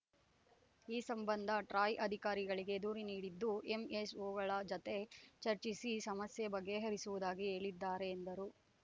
ಈ ಸಂಬಂಧ ಟ್ರಾಯ್‌ ಅಧಿಕಾರಿಗಳಿಗೆ ದೂರು ನೀಡಿದ್ದು ಎಂಎಸ್‌ಓಗಳ ಜತೆ ಚರ್ಚಿಸಿ ಸಮಸ್ಯೆ ಬಗೆಹರಿಸುವುದಾಗಿ ಹೇಳಿದ್ದಾರೆ ಎಂದರು